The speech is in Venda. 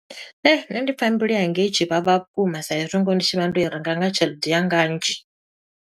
Nṋe ndi pfa mbilu yanga i tshi vhavha vhukuma sa i zwi ngoho ndi tshi vha ndo i renga nga tshelede ya nga nnzhi.